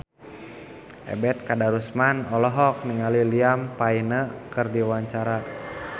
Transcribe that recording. Ebet Kadarusman olohok ningali Liam Payne keur diwawancara